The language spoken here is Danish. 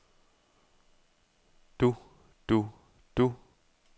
du du du